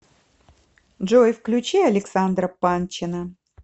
джой включи александра панчина